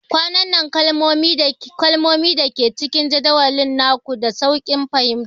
Ƙananan kalmomi da ke cikin jadawalin naku, da sauƙin fahimta